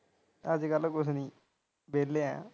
ਅਜ ਕਲ ਕੁਝ ਨਹੀਂ ਵੇਲੇ ਹਾਂ।